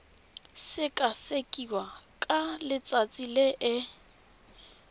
sekasekiwa ka letsatsi le e